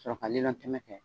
Sɔrɔ ka lilɔntɛmɛ kɛ